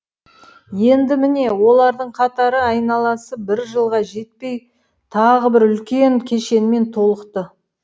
енді міне олардың қатары айналасы бір жылға жетпей тағы бір үлкен кешенмен толықты